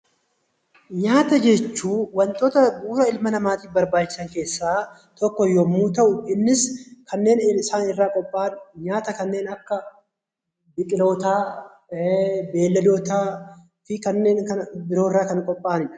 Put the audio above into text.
Nyaata jechuun wantoota bu'uura ilma namaatiif barbaachisan keessaa tokko yommuu ta'u, innis kanneen isaan irraa qophaayan nyaata kanneen akka biqilootaa, beeyladootaa, fi kanneen biroo irraa kan qophaa'anidha.